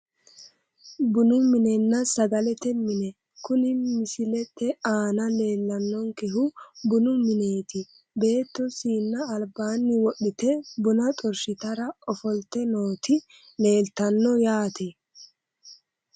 Bunu minenna sagalete mine kuni misiete aana leellannonkehu bunu mineeti beetto siinna albaanni wodhite bona xorshitara ofolte nooti leeltanno yaate